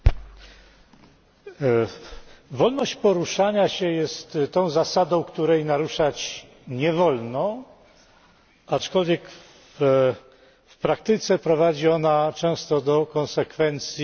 Wolność poruszania się jest zasadą, której naruszać nie wolno, aczkolwiek w praktyce prowadzi ona często do konsekwencji trudnych do zaakceptowania.